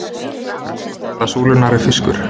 helsta fæða súlunnar er fiskur